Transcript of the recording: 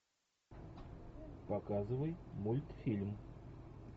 показывай мультфильм